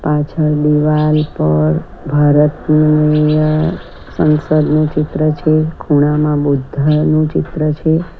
પાછળ દીવાલ પર ભારત સંસદનું ચિત્ર છે ખૂણામાં બુધ્ધાનું ચિત્ર છે.